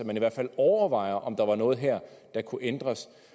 man i hvert fald overvejer om der er noget her der kunne ændres